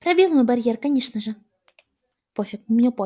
пробил мой барьер конечно же